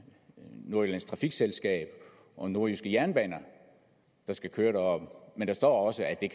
nordjyllands trafikselskab og nordjyske jernbaner der skal køre men der står også at det